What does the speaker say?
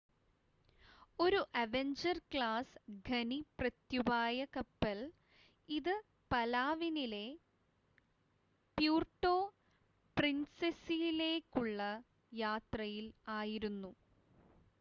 ഒരു avenger class ഖനി പ്രത്യുപായ കപ്പൽ ഇത് പലാവനിലെ പ്യൂർട്ടോ പ്രിൻസെസയിലേക്കുള്ള യാത്രയിൽ ആയിരുന്നു